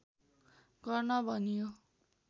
गर्न भनियो